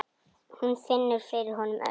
Hún finnur fyrir honum öllum.